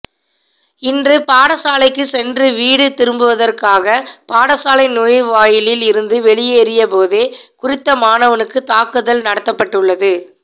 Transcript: இன்று பாடசாலைக்கு சென்று வீடு திரும்புவதற்காக பாடசாலை நுழைவாயிலில் இருந்து வெளியேறிய போதே குறித்த மாணவனுக்கு தாக்குதல் நடத்தப்பட்டுள்ளது